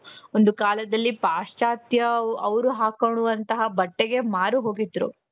ಒಂದು ಕಾಲದಲ್ಲಿ ಪಾಶ್ಚಾತ್ಯ ಅವರು ಹಾಕ್ಕೊಳ್ಳುವಂತ ಬಟ್ಟೆಗೆ ಮಾರು ಹೋಗಿದ್ರು.